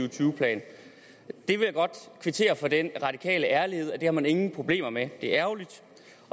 og tyve plan jeg vil godt kvittere for den radikale ærlighed er det har man ingen problemer med det er ærgerligt